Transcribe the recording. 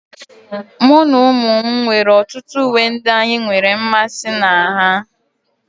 Mụ na ụmụ m nwere ọtụtụ uwe ndị anyị nwere mmasị na ha